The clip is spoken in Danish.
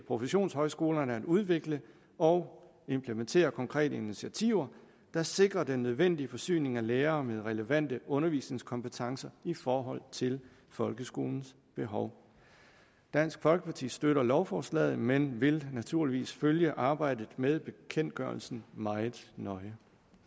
professionshøjskolerne at udvikle og implementere konkrete initiativer der sikrer den nødvendige forsyning af lærere med relevante undervisningskompetencer i forhold til folkeskolens behov dansk folkeparti støtter lovforslaget men vil naturligvis følge arbejdet med bekendtgørelsen meget nøje